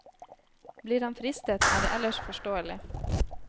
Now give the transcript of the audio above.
Blir han fristet, er det ellers forståelig.